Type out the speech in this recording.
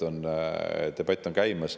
Debatt on käimas.